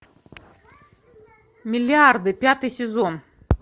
миллиарды пятый сезон